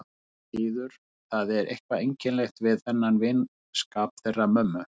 Engu að síður, það er eitthvað einkennilegt við þennan vinskap þeirra mömmu.